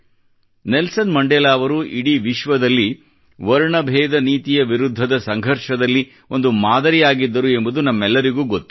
Nelson Mandela ಅವರು ಇಡೀ ವಿಶ್ವದಲ್ಲಿ ವರ್ಣ ಬೇಧ ನೀತಿಯ ವಿರುದ್ಧದ ಸಂಘರ್ಷದಲ್ಲಿ ಒಂದು ಮಾದರಿ ಆಗಿದ್ದರು ಎಂಬುದು ನಮಗೆಲ್ಲರಿಗೂ ಗೊತ್ತು